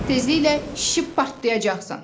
Tezliklə şişib partlayacaqsan.